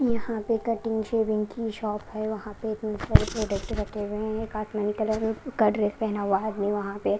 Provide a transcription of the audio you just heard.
यहाँ पे cutting shaving की शॉप है वहाँ पे इतने सारे प्रोडक्ट रखे हुए हैं एक आसमानी कलर का ड्रेस पहना हुआ है आदमी वहाँ पे।